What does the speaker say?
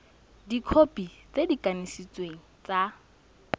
dikhopi tse di kanisitsweng tsa